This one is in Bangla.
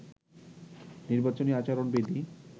নির্বাচনী আচরণ বিধি